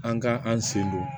An ka an sen don